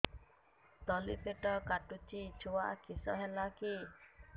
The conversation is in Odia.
ତଳିପେଟ କାଟୁଚି ଛୁଆ କିଶ ହେଲା କି